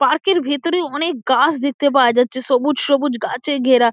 Park -এর ভিতরে অনেক গাছ দেখতে পাওয়া যাচ্ছে সবুজ সবুজ গাছে ঘেরা।